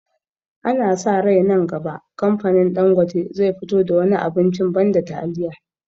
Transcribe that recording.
Ana sa rai nan gaba kamfanin Ɗangote zai fito da wani abincin banda taliya